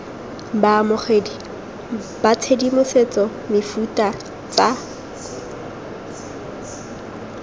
baamogedi ba tshedimosetso mefuta tsa